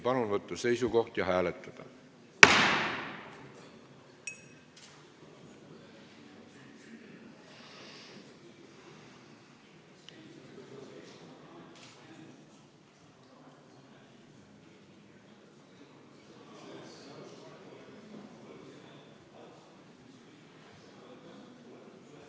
Palun võtta seisukoht ja hääletada!